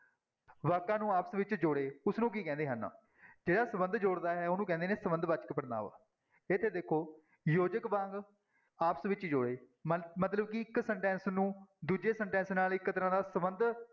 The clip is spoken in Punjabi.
ਵਾਕਾਂ ਨੂੰ ਆਪਸ ਵਿੱਚ ਜੋੜੇ ਉਸਨੂੰ ਕੀ ਕਹਿੰਦੇ ਹਨ ਜਿਹੜਾ ਸੰਬੰਧ ਜੋੜਦਾ ਹੈ ਉਹਨੂੰ ਕਹਿੰਦੇ ਨੇ ਸੰਬੰਧ ਵਾਚਕ ਪੜ੍ਹਨਾਂਵ ਇੱਥੇ ਦੇਖੋ ਯੋਜਕ ਵਾਂਗ ਆਪਸ ਵਿੱਚ ਜੋੜੇ ਮ ਮਤਲਬ ਕਿ ਇੱਕ sentence ਨੂੰ ਦੂਜੇ sentence ਨਾਲ ਇੱਕ ਤਰ੍ਹਾਂ ਦਾ ਸੰਬੰਧ